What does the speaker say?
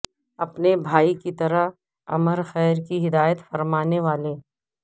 اپنے بھائی کی طرح امر خیر کی ہدایت فرمانے والے